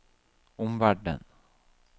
omverden